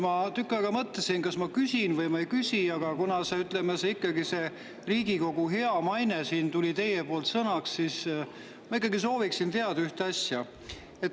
Ma tükk aega mõtlesin, kas ma küsin või ei küsi, aga kuna te võtsite jutuks Riigikogu hea maine, siis ma sooviksin ikkagi teada ühte asja.